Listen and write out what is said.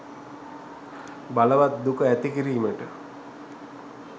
බලවත් දුක ඇති කිරීමට